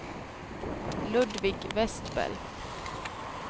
Ludvig Vestberg